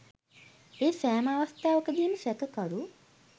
ඒ සෑම අවස්ථාවකදීම සැකකරු